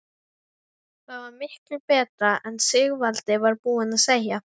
Það var miklu betra en Sigvaldi var búinn að segja.